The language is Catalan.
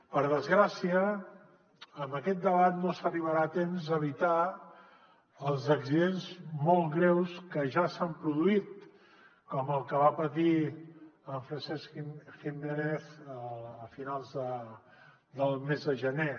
per desgràcia amb aquest debat no s’arribarà a temps d’evi·tar els accidents molt greus que ja s’han produït com el que va patir en francesc jiménez a finals del mes de gener